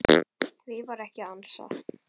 Því var ekki ansað.